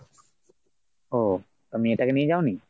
ও মেয়েটাকে নিয়ে যাও নি?